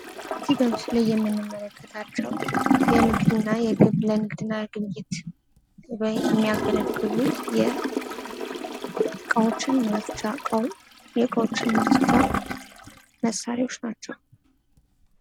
ከዚህ ከምስሉ ላይ የምንመለክታቸው የንግድ እና የግብይት ከንግድ እና ለግብይት የሚያገለግሉ እቃዎችን ማጽጃ የእቃዎች ማጽጃ መሳሪያወች ናቸው።